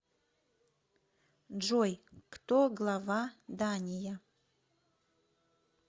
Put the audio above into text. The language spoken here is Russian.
джой кто глава дания